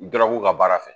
Dɔrɔguw ka baara fɛ